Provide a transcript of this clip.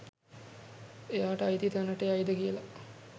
එයාට අයිති තැනට යයිද කියලා?